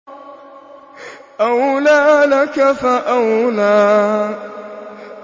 أَوْلَىٰ لَكَ فَأَوْلَىٰ